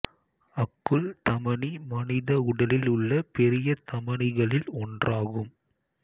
அக்குள் தமனி மனித உடலில் உள்ள பெரிய தமனிகளில் ஒன்றாகும்